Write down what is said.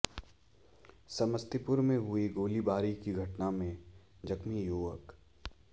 समस्तीपुर में हुई गोलीबारी की घटना में जख्मी युवक